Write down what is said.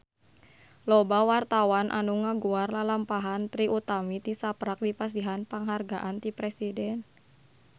Loba wartawan anu ngaguar lalampahan Trie Utami tisaprak dipasihan panghargaan ti Presiden